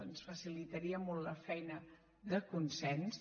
ens facilitaria molt la feina de consens